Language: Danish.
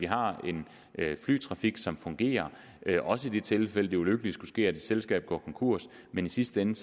er en flytrafik som fungerer også i de tilfælde det ulykkelige skulle ske at et selskab går konkurs men i sidste ende